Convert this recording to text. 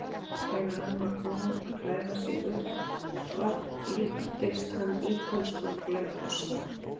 Þegar hann var búinn að klæða sig upp á líktist hann ítölskum glaumgosa.